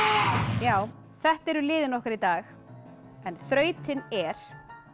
já þetta eru liðin okkar í dag en þrautin er